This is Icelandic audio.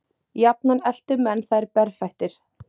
Jafnan eltu menn þær berfættir.